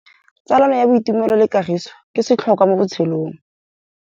Tsalano ya boitumelo le kagiso ke setlhôkwa mo botshelong.